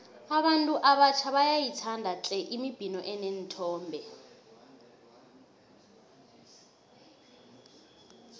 abantu abatjha bayayithanda tle imibhino eneenthombe